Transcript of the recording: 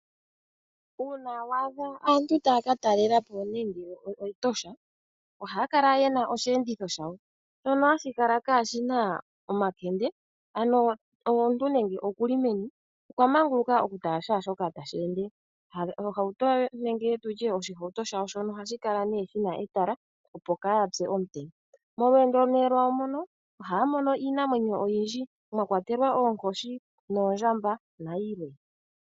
Uuna wa adha aantu taya ka talela po nande okEtosha, ohaya kala ye na osheenditho shawo shono hashi kala kaashina omakende ano omuntu nande okuli meni okwa manguluka oku tala shaashoka tashi ende. Oshihautu shawo shono ohashi kala shina etala opo kaaya pye komutenya. Molweendo nee lwayo mono ohaya mono iinamwenyo oyindji mwa kwatelwa oonkoshi noondjamba nayilwe.